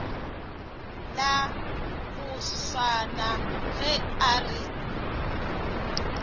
la moswana ge a re